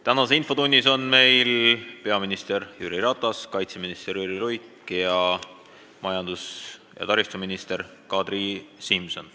Tänases infotunnis on peaminister Jüri Ratas, kaitseminister Jüri Luik ning majandus- ja taristuminister Kadri Simson.